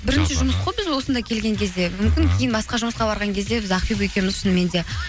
бірінші жұмыс қой біз осында келген кезде мүмкін кейін басқа жұмысқа барған кезде біз ақбибі екеуіміз шынымен де